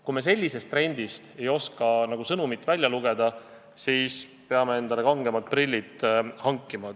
Kui me sellisest trendist ei oska sõnumit välja lugeda, siis peame küll endale kangemad prillid hankima.